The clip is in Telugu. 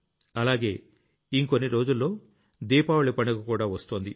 లాగే ఇంకొన్ని రోజుల్లో దీపావళి పండుగ కూడా వస్తోంది